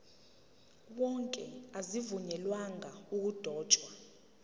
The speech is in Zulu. wonke azivunyelwanga ukudotshwa